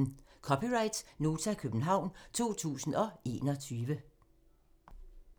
(c) Nota, København 2021